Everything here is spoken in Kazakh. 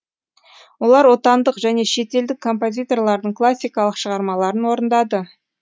олар отандық және шетелдік композиторлардың классикалық шығармаларын орындады